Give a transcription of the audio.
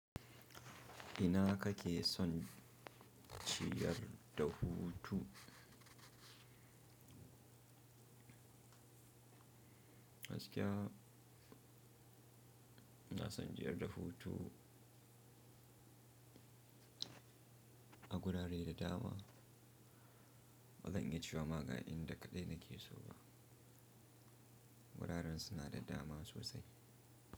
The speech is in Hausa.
Ina haka ke son ciyar da hutu. Gaskiya ina son jiyar da hutu a gurare da dama. Bazan in ya cewa ma ga in da kaɗai nake so ba. Wuraren suna da dama sosai.